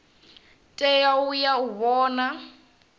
tea u ya u vhona